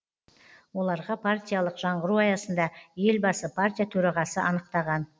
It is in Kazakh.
оларға партиялық жаңғыру аясында елбасы партия төрағасы анықтаған